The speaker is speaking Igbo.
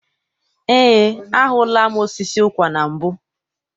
Eé, ahụla m osisi ụkwa na mbụ.